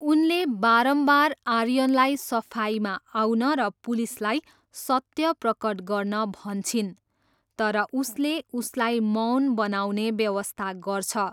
उनले बारम्बार आर्यनलाई सफाइमा आउन र पुलिसलाई सत्य प्रकट गर्न भन्छिन् तर उसले उसलाई मौन बनाउने व्यवस्था गर्छ।